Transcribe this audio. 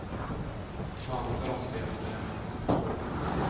Maven kan også bli et problem.